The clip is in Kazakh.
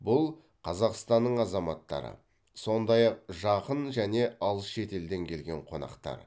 бұл қазақстанның азаматтары сондай ақ жақын және алыс шетелден келген қонақтар